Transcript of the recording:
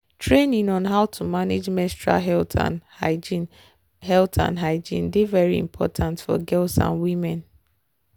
training on how to manage menstrual health and hygiene health and hygiene dey very important for girls and women.